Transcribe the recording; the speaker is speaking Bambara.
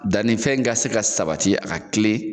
Dannifɛn ka se ka sabati a ka tilen